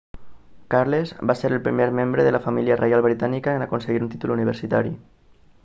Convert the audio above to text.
carles va ser el primer membre de la família reial britànica en aconseguir un títol universitari